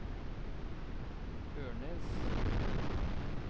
Ørnes